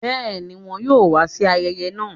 bẹẹni wọn yo wa sí ayẹyẹ náà